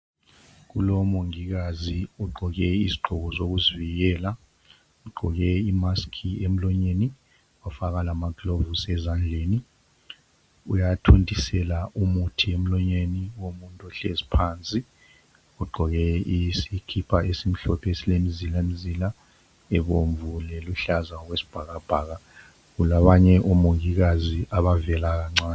Kulomongikazi ogqoke izigqoko zokuzivikela. Ugqoke imask emlonyeni. Wafaka lamagloves ezandleni. Uyathontisela umuthi emlonyeni womuntu ohlezi phansi. Ogqoke isikipa esimhlophe. Esilemzilamzila ebomvu, leluhlaza okwesibhakabhaka. Kulabanye omongikazi abavela kancane.